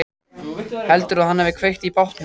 Heldurðu að hann hafi kveikt í bátnum?